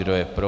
Kdo je pro?